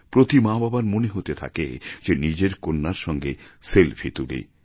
প্রতি মা বাবার মনে হতে থাকে যে নিজের কন্যার সঙ্গে সেলফি তুলি